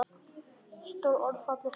Stór orð og fallega sagt.